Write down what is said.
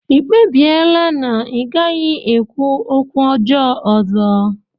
Ị kpebiela na ị gaghị ekwu okwu ọjọọ ọzọ?